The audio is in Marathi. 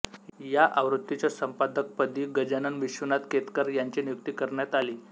या आवृत्तीच्या संपादकपदी गजानन विश्वनाथ केतकर यांची नियुक्ती करण्यात आली